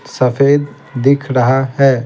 सफेद दिख रहा है.